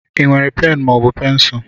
I nwe pen maọbụ pencul?